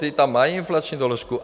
Ti tam mají inflační doložku.